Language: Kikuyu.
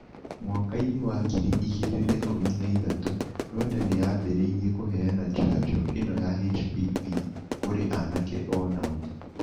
Mwaka-inĩ wa ngiri igĩrĩ na ikumi na ithatu, Rwanda nĩ yambĩrĩirie kũheana njanjo ĩno ya HPV kũrĩ anake o nao.